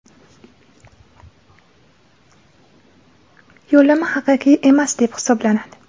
yo‘llanma haqiqiy emas deb hisoblanadi.